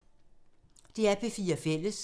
DR P4 Fælles